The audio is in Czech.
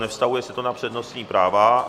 Nevztahuje se to na přednostní práva.